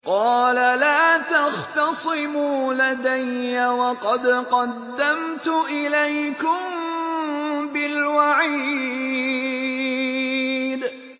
قَالَ لَا تَخْتَصِمُوا لَدَيَّ وَقَدْ قَدَّمْتُ إِلَيْكُم بِالْوَعِيدِ